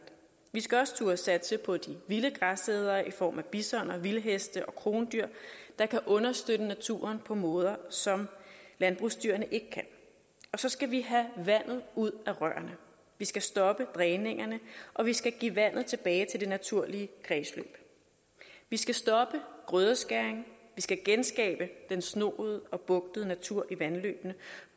vi skal også turde satse på de vilde græsædere i form af bisoner vildheste og krondyr der kan understøtte naturen på måder som landbrugsdyrene ikke kan så skal vi have vandet ud af rørene vi skal stoppe dræningerne og vi skal give vandet tilbage til det naturlige kredsløb vi skal stoppe grødeskæring vi skal genskabe den snoede og bugtede natur i vandløbene